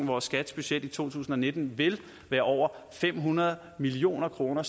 hvor skats budget i to tusind og nitten vil være over fem hundrede million kroner